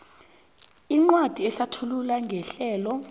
incwajana ehlathulula ngerhelo